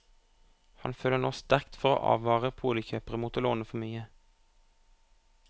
Han føler nå sterkt for å advare boligkjøpere mot å låne for mye.